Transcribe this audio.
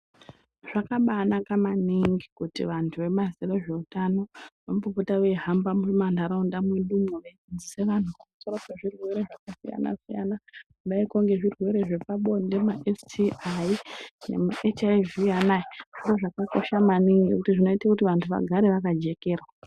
Zvakabaanaka maningi kuti vantu vezveutano vambopota veihamba mumakanyi mwedumwo veidzidzisa vantu nezveutano nezvirwere zvakasiyana siyana kudaiko ngezvirwere zvepabonde maSTI, maHIV anaya ndozvakakosha maningi nekuti zvinoite kuti vantu vagare vakajekerwa.